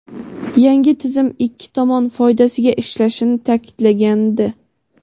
yangi tizim ikki tomon foydasiga ishlashini ta’kidlagandi.